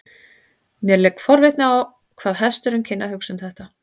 Mér lék forvitni á hvað hesturinn kynni að hugsa um þetta.